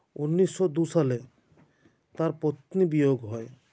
উনিশো দু্ই সালে তাঁর পত্নী বিয়োগ হয়